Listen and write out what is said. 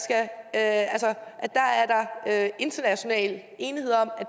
at der er international enighed om at